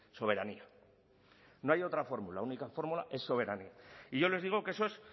soberanía no hay otra fórmula la única fórmula es soberanía y yo les digo que eso es